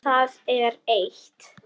Það er eitt.